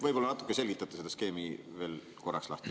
Võib-olla selgitate selle skeemi veel korraks lahti.